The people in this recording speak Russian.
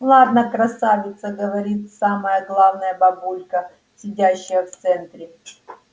ладно красавица говорит самая главная бабулька сидящая в центре